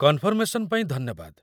Confirmation ପାଇଁ ଧନ୍ୟବାଦ।